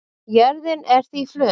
jörðin er því flöt